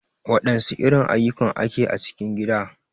Wadansu irin ayukan ake a cikin gida?.